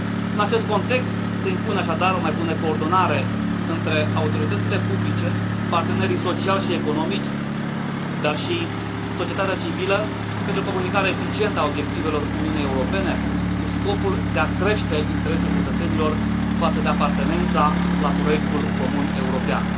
În acest context se impune, așadar, o mai bună coordonare între autoritățile publice, partenerii sociali și economici, dar și societatea civilă, pentru o comunicare eficientă a obiectivelor Uniunii Europene, cu scopul de a crește interesul cetățenilor față de apartenența la proiectul comun european.